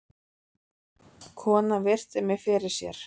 Konan virti mig fyrir sér.